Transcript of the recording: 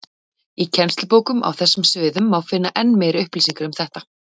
Í kennslubókum á þessum sviðum má finna enn meiri upplýsingar um þetta.